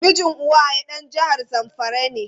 Mijin Uwaye dan jihar zamfara ne.